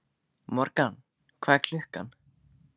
Morgan, hvað er klukkan?